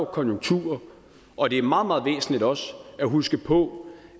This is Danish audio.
konjunkturer og det er meget meget væsentligt også at huske på